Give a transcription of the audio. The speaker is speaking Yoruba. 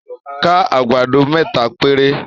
Ká àgbàdo mẹ́ta péré.